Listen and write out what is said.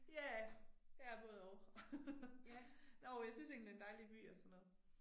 Ja ja både og. Jo jeg synes egentlig det en dejlig by og sådan noget